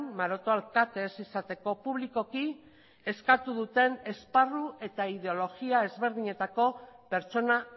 maroto alkate ez izateko publikoki eskatu duten esparru eta ideologia ezberdinetako pertsona